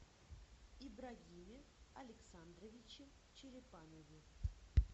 ибрагиме александровиче черепанове